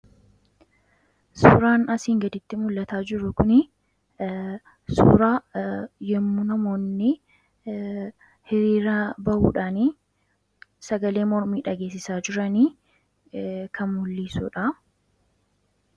Suuraan asiin gadiitti mul'achaa jiruu kun suuraa yommuu namoonni hiriiraa bahuudhaani sagalee mormii dhagesisa jiraani kan mul'isuudha.